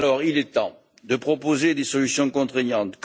Il est donc temps de proposer des solutions contraignantes.